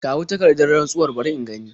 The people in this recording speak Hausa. Kawo takardar rantsuwar bari in gani.